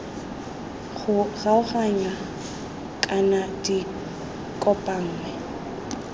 go kgaoganngwa kana di kopanngwe